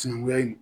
Sinankunya in